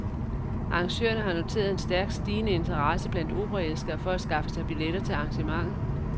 Arrangørerne har noteret en stærkt stigende interesse blandt operaelskere for at skaffe sig billetter til arrangementet.